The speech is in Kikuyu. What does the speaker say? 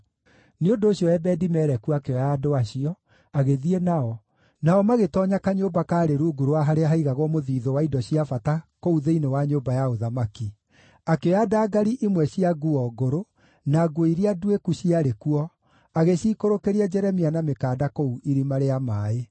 Nĩ ũndũ ũcio Ebedi-Meleku akĩoya andũ acio, agĩthiĩ nao, nao magĩtoonya kanyũmba kaarĩ rungu rwa harĩa haaigagwo mũthiithũ wa indo cia bata kũu thĩinĩ wa nyũmba ya ũthamaki. Akĩoya ndangari imwe cia nguo ngũrũ, na nguo iria nduĩku ciarĩ kuo, agĩciikũrũkĩria Jeremia na mĩkanda kũu irima rĩa maaĩ.